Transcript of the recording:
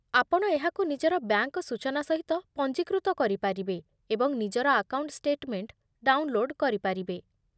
ଆପଣ ଏହାକୁ ନିଜର ବ୍ୟାଙ୍କ ସୂଚନା ସହିତ ପଞ୍ଜୀକୃତ କରିପାରିବେ ଏବଂ ନିଜର ଆକାଉଣ୍ଟ ଷ୍ଟେଟମେଣ୍ଟ ଡାଉନଲୋଡ କରିପାରିବେ